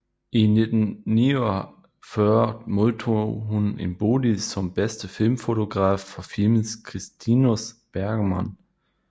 I 1949 modtog hun en Bodil som bedste filmfotograf for filmen Kristinus Bergman